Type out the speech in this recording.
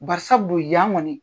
Barisabu yan ŋɔni